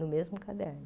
No mesmo caderno.